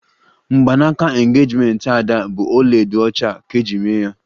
Mgbanaka engejimenti Ada bụ ọlaedo ọcha ka eji mee ya